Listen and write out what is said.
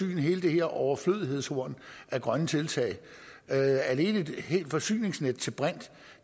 hele det her overflødighedshorn af grønne tiltag alene et forsyningsnet til brint